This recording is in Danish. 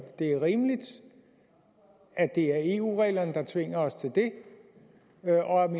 det er rimeligt at det er eu regler der tvinger os til at om